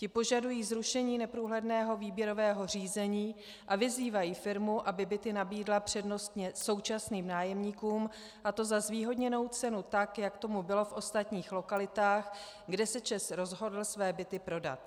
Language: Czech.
Ti požadují zrušení neprůhledného výběrového řízení a vyzývají firmu, aby byty nabídla přednostně současným nájemníkům, a to za zvýhodněnou cenu, tak jak tomu bylo v ostatních lokalitách, kde se ČEZ rozhodl své byty prodat.